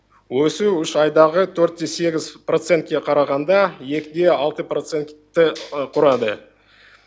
өсу үш айдағы төрт те сегіз процентке қарағанда екі де алты процентті құрады